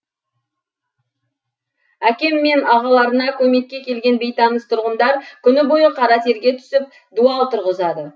әкем мен ағаларына көмекке келген бейтаныс тұрғындар күні бойы қара терге түсіп дуал тұрғызады